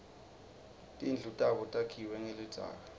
tindlu tabo takhiwe nqelidzaka